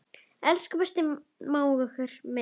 Elsku besti mágur minn.